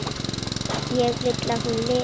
Ég vil að hún lifi.